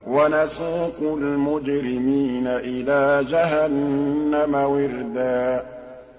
وَنَسُوقُ الْمُجْرِمِينَ إِلَىٰ جَهَنَّمَ وِرْدًا